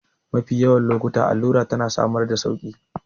Mafi yawan lokuta allura tana samar da sauƙi